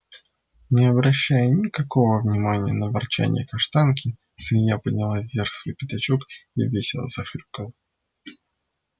не обращая никакого внимания на ворчанье каштанки свинья подняла вверх свой пятачок и весело захрюкала